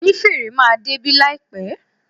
Onífèrè máa débí láìpẹ́.